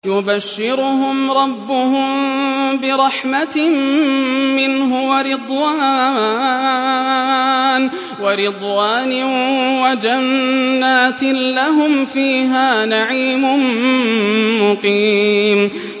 يُبَشِّرُهُمْ رَبُّهُم بِرَحْمَةٍ مِّنْهُ وَرِضْوَانٍ وَجَنَّاتٍ لَّهُمْ فِيهَا نَعِيمٌ مُّقِيمٌ